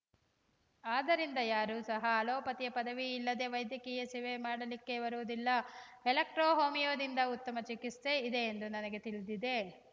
ಆದ್ದರಿಂದ ಯಾರೂ ಸಹ ಅಲೋಪತಿಯ ಪದವಿ ಇಲ್ಲದೇ ವೈದ್ಯಕೀಯ ಸೇವೆ ಮಾಡಲಿಕ್ಕೆ ಬರುವುದಿಲ್ಲ ಎಲೆಕ್ಟ್ರೋ ಹೋಮಿಯೋದಿಂದ ಉತ್ತಮ ಚಿಕಿತ್ಸೆ ಇದೆ ಎಂದು ನನಗೆ ತಿಳಿದಿದೆ